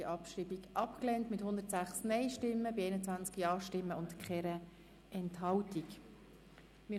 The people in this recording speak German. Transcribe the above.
Sie haben diese Abschreibung mit 106 Nein- gegen 21 Ja-Stimmen bei 0 Enthaltungen abgelehnt.